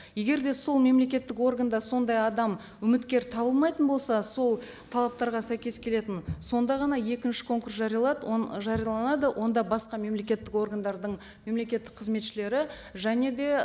егер де сол мемлекеттік органда сондай адам үміткер табылмайтын болса сол талаптарға сәйкес келетін сонда ғана екінші конкурс жариялайды жарияланады онда басқа мемлекеттік органдардың мемлекеттік қызметшілері және де